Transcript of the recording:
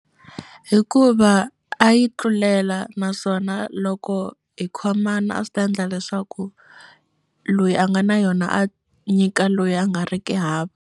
Hikuva a yi tlulela naswona loko hi khomana a swi ta endla leswaku loyi a nga na yona a nyika loyi a nga ri ki hava.